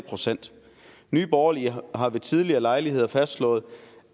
procent nye borgerlige har ved tidligere lejligheder fastslået